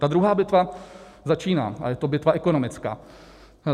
Ta druhá bitva začíná a je to bitva ekonomická.